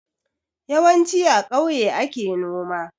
Yawanci a kauye ake noma